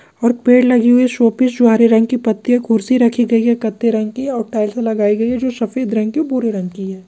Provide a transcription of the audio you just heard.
और पेड़ लगे हुए है शो पीस--